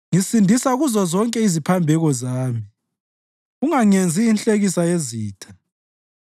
Ngisindisa kuzozonke iziphambeko zami; ungangenzi inhlekisa yezitha.